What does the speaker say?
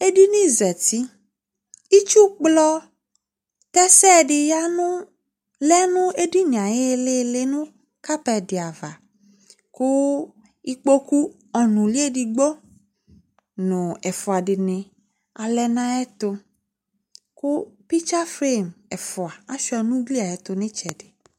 Edinizati, itsukplɔ tɛsɛ dɩ ya nʋ lɛ nʋ edini yɛ ayʋ ɩɩlɩ ɩɩlɩ nʋ kapɛt dɩ ava kʋ ikpoku ɔnʋlɩ edigbob nʋ ɛfʋa dɩnɩ alɛ nʋ ayɛtʋ kʋ pɩtsa frem ɛfʋa asʋɩa nʋ ugli yɛ ayɛtʋ nʋ ɩtsɛdɩ